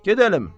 Gedəlim!